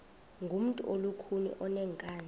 ngumntu olukhuni oneenkani